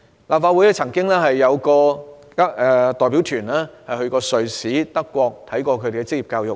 立法會曾有代表團到瑞士和德國考察當地的職業教育。